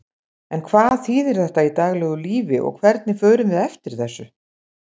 En hvað þýðir þetta í daglegu lífi og hvernig förum við eftir þessu?